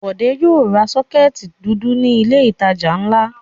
Bọ̀dé yóò ra sọ́kẹ́tì tuntun ní ilé-ìtajà ńlá.